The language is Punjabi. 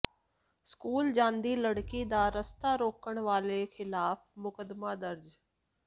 ਸਕੂਲ ਜਾਂਦੀ ਲੜਕੀ ਦਾ ਰਸਤਾ ਰੋਕਣ ਵਾਲੇ ਿਖ਼ਲਾਫ਼ ਮੁਕੱਦਮਾ ਦਰਜ